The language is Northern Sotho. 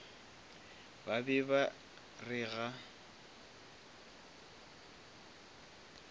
ba be ba re ga